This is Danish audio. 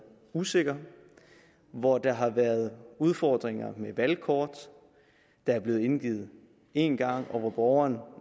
usikker hvor der havde været udfordringer med valgkort der var blevet indgivet én gang og hvor borgeren